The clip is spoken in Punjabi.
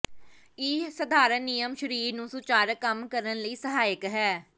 ਇਹ ਸਧਾਰਨ ਨਿਯਮ ਸਰੀਰ ਨੂੰ ਸੁਚਾਰੂ ਕੰਮ ਕਰਨ ਲਈ ਸਹਾਇਕ ਹੈ